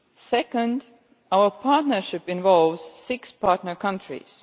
Secondly, our partnership involves six partner countries.